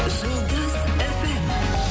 жұлдыз фм